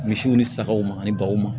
Misiw ni sagaw ma ani baw ma